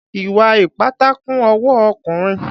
Ìwà ìpátá kún ọwọ́ ọkùnrin.